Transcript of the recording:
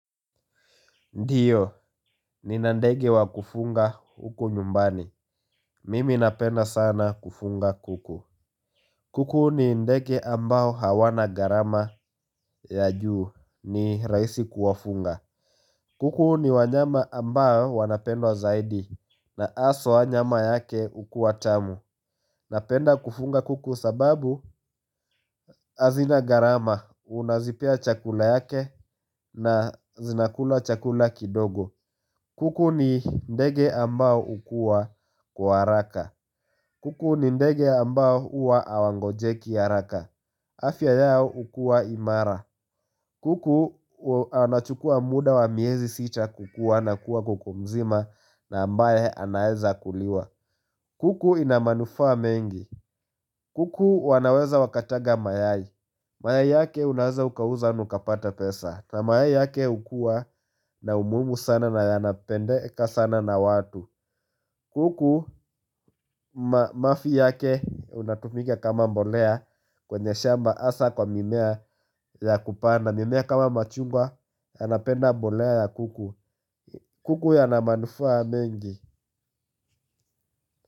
Ndio, nina ndege wa kufunga huku nyumbani. Mimi napenda sana kufunga kuku. Kuku ni ndege ambao hawana gharama ya juu ni rahisi kuwafunga. Kuku ni wanyama ambao wanapendwa zaidi na haswa nyama yake hukuwa tamu. Napenda kufunga kuku sababu hazina gharama, unazipea chakula yake na zinakula chakula kidogo. Kuku ni ndege ambao hukuwa kwa haraka kuku ni ndege ambao huwa hawagonjeki haraka afya yao hukuwa imara. Kuku anachukua muda wa miezi sita kukuwa na kuwa kuku mzima na ambaye anaeza kuliwa. Kuku ina manufaa mengi. Kuku wanaweza wakataga mayai. Mayai yake unaeza ukauza na ukapata pesa. Mayai yake hukuwa na umuhimu sana na yanapendeka sana na watu. Kuku mafi yake unatumika kama mbolea. Kwenye shamba hasa kwa mimea ya kupanda mimea kama machungwa yanapenda mbolea ya kuku. Kuku yana manufaa mengi.